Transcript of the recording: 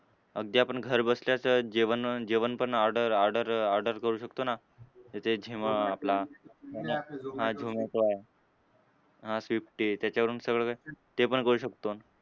अगदी आपण घरबसल्या तर जेवण जेवण पण order order order करू शकतो ना. तर ते झोमॅ आपला. आणि हां झोमॅटो आहे. हां स्वीगी त्याच्यावरून सगळं काय ते पण करू शकतो.